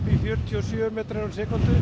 fjörutíu metra á sekúndu